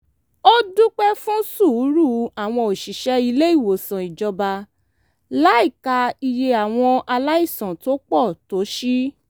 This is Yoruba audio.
ó dúpẹ́ fún sùúrù àwọn òṣìṣẹ́ ilé-ìwòsàn ìjọba láìka iye àwọn aláìsàn tó pọ̀ tó sí